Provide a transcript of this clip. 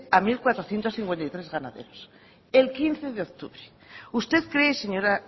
a mil cuatrocientos cincuenta y tres ganaderos el quince de octubre usted cree señora